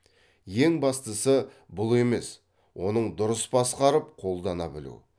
ең бастысы бұл емес оның дұрыс басқарып қолдана білу